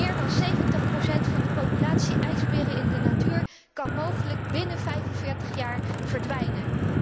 Meer dan 70 procent van de populatie ijsberen in de natuur kan mogelijk binnen 45 jaar verdwijnen.